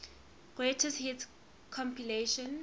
greatest hits compilation